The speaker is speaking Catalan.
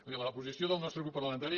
miri la posició del nostre grup parlamentari